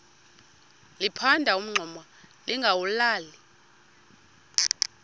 liphanda umngxuma lingawulali